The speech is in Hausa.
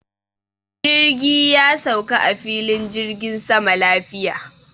Jirgi ya sauka a filin jirgin sama lafiya.